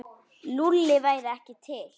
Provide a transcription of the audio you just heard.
Lúlli væri ekki til.